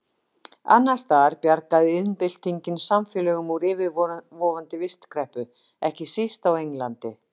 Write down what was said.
Annars staðar bjargaði iðnbyltingin samfélögum úr yfirvofandi vistkreppu, ekki síst á Englandi.